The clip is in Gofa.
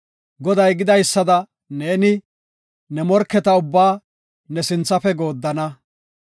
Goday gidaysada neeni, ne morketa ubbaa ne sinthafe gooddana.